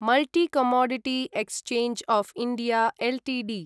multi commodity exchange of India Ltd